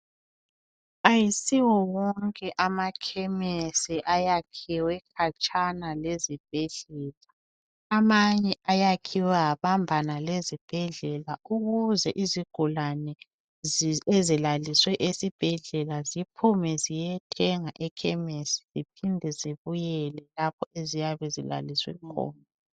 Ayisiwo wonke amakhemisi ayakhiwe khatshana lezibhedlela amanye ayakhiwe abambana lezibhedlela ukuze izigulane ezilaliswe esibhedlela ziphume ziyethenga ekhemisi siphinde zibuyele lapho eziyabe zilaliswe khona.